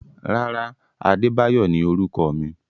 Rárá, Adebayo ni orúkọ mi.